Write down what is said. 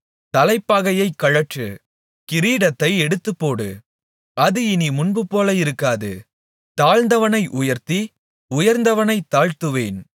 தலைப்பாகையைக் கழற்று கிரீடத்தை எடுத்துப்போடு அது இனி முன்பு போல இருக்காது தாழ்ந்தவனை உயர்த்தி உயர்ந்தவனைத் தாழ்த்துவேன்